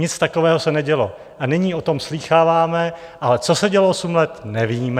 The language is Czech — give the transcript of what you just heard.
Nic takového se nedělo a nyní o tom slýcháváme, ale co se dělo osm let, nevíme.